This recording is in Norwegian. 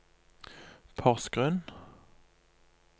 Porsgrunn